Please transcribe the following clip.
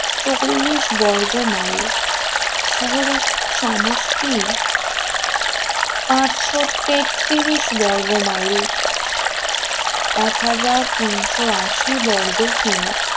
চল্লিশ বর্গমাইল শহরের সমষ্টি পাঁচশো তেএিশ বর্গমাইল এক হাজার তিনশো আশি বর্গ কিমি